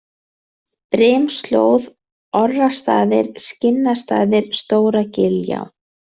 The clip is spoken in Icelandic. Brimslóð, Orrastaðir, Skinnastaðir, Stóra-Giljá